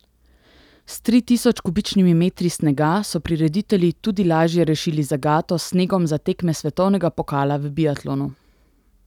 S tri tisoč kubičnimi metri snega so prireditelji tudi lažje rešili zagato s snegom za tekme svetovnega pokala v biatlonu.